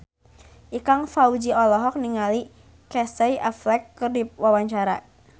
Ikang Fawzi olohok ningali Casey Affleck keur diwawancara